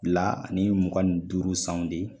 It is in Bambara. fila ani mugan ni duuru sanw de